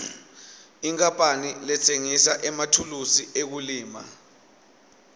inkapani letsengisa emathulusi ekulima